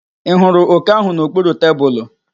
Ị hụrụ òké ahụ n'okpuru tebulu?